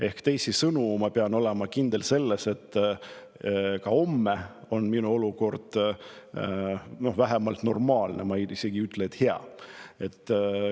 Ehk teisisõnu, ma pean olema kindel selles, et ka homme on minu olukord vähemalt normaalne, ma isegi ei ütle, et hea.